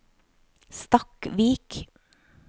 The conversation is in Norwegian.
Stakkvik